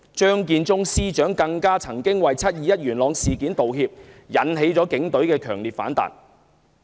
張建宗司長曾為"七二一"事件道歉，更引起警隊強烈反彈。